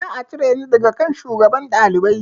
Za a cire ni daga kan shugaban ɗalibai